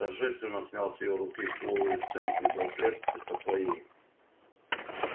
торжественно снял с её руки флуоресцентный браслет и со своей